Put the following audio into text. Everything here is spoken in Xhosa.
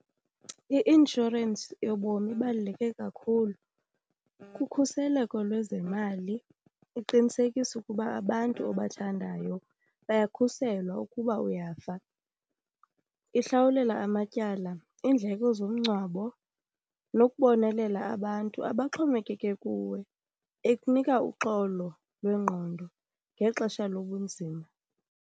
I-inshorensi yobomi ibaluleke kakhulu kukhuseleko lwezemali. Uqinisekisa ukuba abantu obathandayo bayakhuselwa ukuba uyafa. Ihlawulela amatyala, iindleko zomngcwabo nokubonelela abantu abaxhomekeke kuwe. Ikunika uxolo lwengqondo ngexesha lobunzima.